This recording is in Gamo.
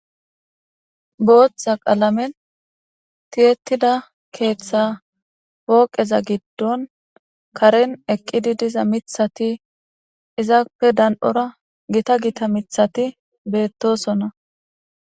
booththa qalamen tiyettida keeththa booqeza giddon karen eqqidi diza mithati izaape dan7ora gita gita mithati beettosonna